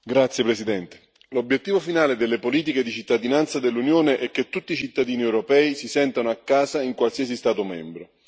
Signor Presidente, onorevoli colleghi, l'obiettivo finale delle politiche di cittadinanza dell'Unione è che tutti i cittadini europei si sentano a casa in qualsiasi Stato membro.